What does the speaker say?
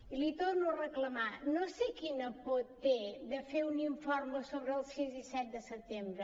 i li ho torno a reclamar no sé quina por té de fer un informe sobre el sis i set de setembre